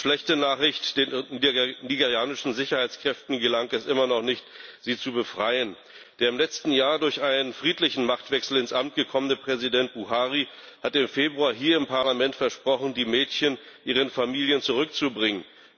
Die schlechte Nachricht Den nigerianischen Sicherheitskräften gelang es immer noch nicht, sie zu befreien. Der im letzten Jahr durch einen friedlichen Machtwechsel ins Amt gekommene Präsident Buhari hatte im Februar hier im Parlament versprochen, die Mädchen ihren Familien zurückzubringen.